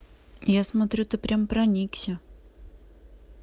я смотрю ты прямо проникся